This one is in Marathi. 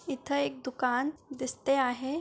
इथे एक दुकान दिसते आहे.